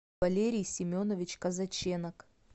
валерий семенович казаченок